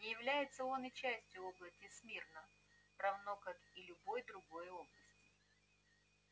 не является он и частью области смирно равно как и любой другой области